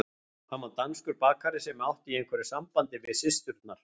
Hann var danskur bakari sem átti í einhverju sambandi við systurnar.